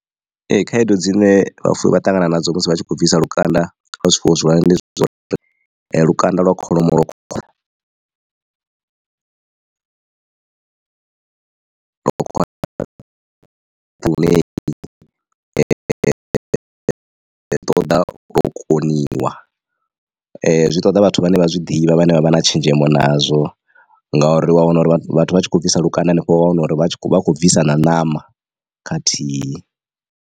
Ee khaedu dzine vhafuwi vha ṱangana nadzo musi vha tshi kho bvisa lukanda kha kholomo ndi zwauri lukanda lwa kholomo zwi ṱoḓa vhathu vhane vha zwi ḓivha vhane vha vha na tshenzhemo nazwo ngauri wa wana uri vhathu vha tshi kho bvisa lukanda henefho wa wana uri vha vha khou bvisa na ṋama khathihi.